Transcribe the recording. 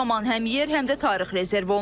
Bu zaman həm yer, həm də tarix rezerv olunur.